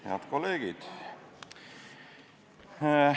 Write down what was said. Head kolleegid!